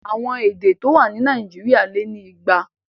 Àwọn èdè tó wà ní Nàìjíríà lé ni igba.